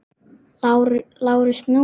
LÁRUS: Nú?